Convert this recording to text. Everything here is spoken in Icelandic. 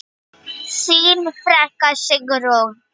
Þín frænka, Sigrún.